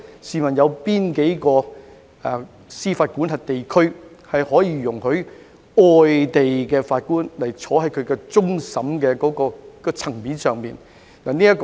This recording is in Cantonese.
試問有哪個司法管轄區在其憲制架構下，容許外地法官審理終審層面的案件？